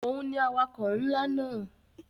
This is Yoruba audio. Òhun ni awakọ̀ ńlá náà.